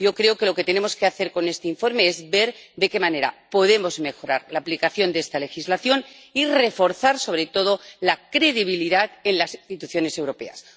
Yo creo que lo que tenemos que hacer con este informe es ver de qué manera podemos mejorar la aplicación de esta legislación y reforzar, sobre todo, la credibilidad en las instituciones europeas.